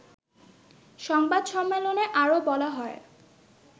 সংবাদ সম্মেলনে আরও বলা হয়